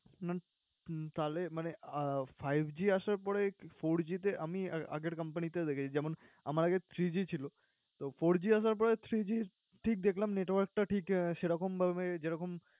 তাহলে মানে আহ fiveG আসার পরে fourG তে আমি আগের company তেও দেখেছি যেমন, আমার আগে three G ছিল। তো four G আসার পরে three G ঠিক দেখলাম network টা ঠিক সেরকম ভাবে যেরকম